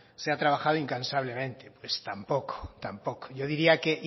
se ha trabajado incansablemente pues tampoco tampoco yo diría que